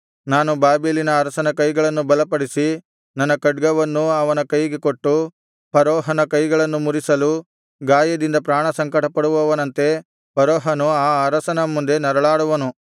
ನಾನು ಬಾಬೆಲಿನ ಅರಸನ ಕೈಗಳನ್ನು ಬಲಪಡಿಸಿ ನನ್ನ ಖಡ್ಗವನ್ನು ಅವನ ಕೈಗೆ ಕೊಟ್ಟು ಫರೋಹನ ಕೈಗಳನ್ನು ಮುರಿಸಲು ಗಾಯದಿಂದ ಪ್ರಾಣ ಸಂಕಟಪಡುವವನಂತೆ ಫರೋಹನು ಆ ಅರಸನ ಮುಂದೆ ನರಳಾಡುವನು